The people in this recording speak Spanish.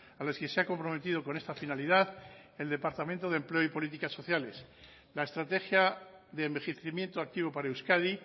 a las que se ha comprometido con esta finalidad el departamento de empleo y políticas sociales la estrategia de envejecimiento activo para euskadi